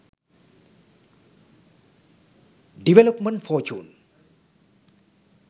development fortune